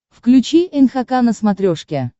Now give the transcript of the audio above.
включи нхк на смотрешке